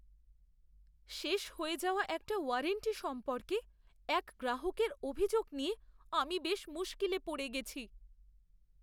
শেষ হয়ে যাওয়া একটা ওয়ারেন্টি সম্পর্কে এক গ্রাহকের অভিযোগ নিয়ে আমি বেশ মুশকিলে পড়ে গেছি।